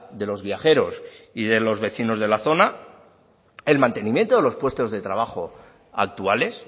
de los viajeros y de los vecinos de la zona el mantenimiento de los puestos de trabajo actuales